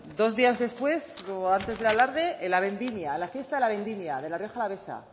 dos días después o antes del alarde en la vendimia la fiesta de la vendimia de la rioja alavesa